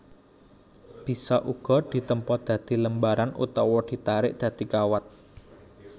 Bisa uga ditempa dadi lembaran utawa ditarik dadi kawat